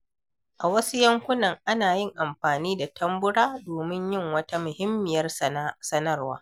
A wasu yankunan, ana yin amfani da tambura domin yin wata muhimmiyar sanarwa.